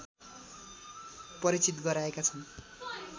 परिचित गराएका छन्